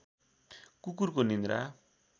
कुकुरको निन्द्रा